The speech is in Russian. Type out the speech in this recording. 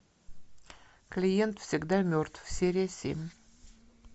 клиент всегда мертв серия семь